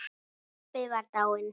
Pabbi var dáinn.